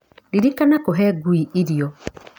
Ririkana kũhe ngui irio.